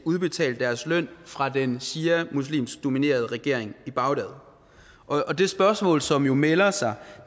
udbetalt deres løn fra den shiamuslimsk dominerede regering i bagdad og det spørgsmål som jo melder sig